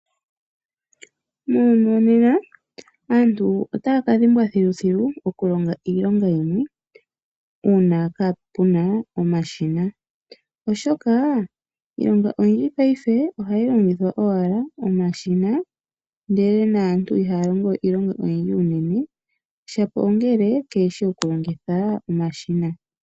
Muuyuni wonena aantu otaya ka dhimbwa thiluthilu oku longa iilonga yimwe uuna kaa pu na omashina, oshoka iilonga oyindji paife ohayi longwa po owala komashina ndele naantu ihaya longowe iilonga oyindji, shapo ongele kee shi oku longitha omashina.